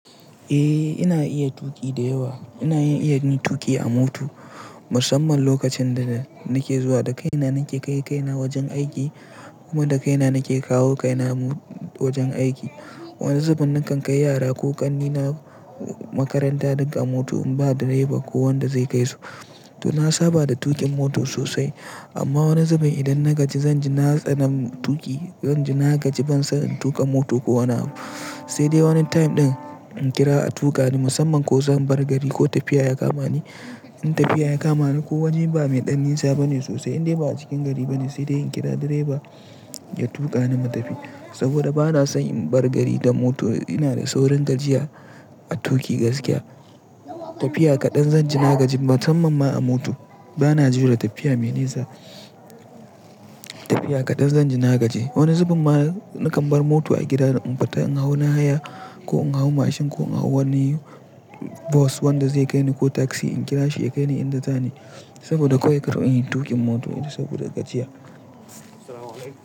Eh ina iya tuƙi da yawa. Ina iya ni tuƙi a mota musamman lokacin da nake zuwa da kaina nake kai kaina wajen aiki kuma da kaina nake kawo kaina wajen aiki. Wani zubin nakan kai yara ko ƙannena makaranta duk moto in ba direba ko wanda zai kai su. To na saba da tuƙin mota sosai amma wani zubin idan na gaji zanji na tsani tuƙi, zanji na gaji ban so in tuƙa moto ko wani abu sai dai wani time ɗin in kira a tuƙa ni musamman ko zan bar gari ko tafiya ya kamani. In tafiya ya kamani ko wajen ba mai ɗan nisa bane sosai indai ba a cikin gari bane sai dai in kira direba ya tuƙa ni mu tafi saboda bana son in bar gari da moto ina da saurin gajiya a tuƙi gaskiya. Tafiya kaɗan zanji na gaji musamman ma a moto. Bana jure tafiya mai nisa. Tafiya kaɗan zanji na gaji. Wani zubin ma nakan bar moto a gida in fita in hau na haya ko in hau mashin ko in hau wani bos wanda zai kai ni ko taksi in kira shi ya kai ni inda zani. Saboda kawai kar in yi tuƙin moto saboda gajiya.